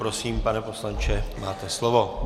Prosím, pane poslanče, máte slovo.